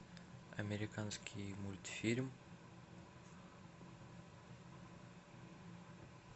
американский мультфильм